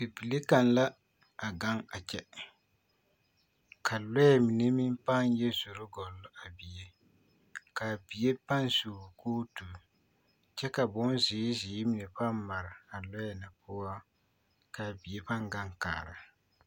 Bibile kaŋ la a gaŋ a kyɛ ka lɔɛ mine meŋ pãã yɔ zoro gɔllo a bie k'a bie pãã su kootu kyɛ ka bonzeere zeere mine pãã mare a lɔɛ na poɔ ka a bie pãã gaŋ kaara.